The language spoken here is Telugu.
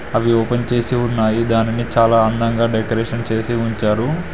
అవి ఓపెన్ చేసి ఉన్నాయి దానిని చాలా అందంగా డెకరేషన్ చేసి ఉంచారు.